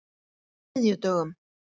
þriðjudögum